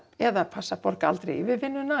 eða passa að borga aldrei yfirvinnuna